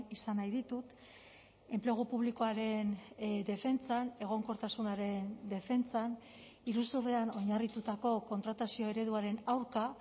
izan nahi ditut enplegu publikoaren defentsan egonkortasunaren defentsan iruzurrean oinarritutako kontratazio ereduaren aurka